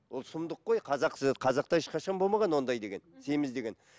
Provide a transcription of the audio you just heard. ол сұмдық қой қазақта ешқашан болмаған ондай деген мхм семіз деген